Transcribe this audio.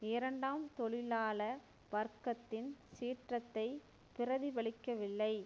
இரண்டாம் தொழிலாள வர்க்கத்தின் சீற்றத்தைப் பிரதிபலிக்கவில்லை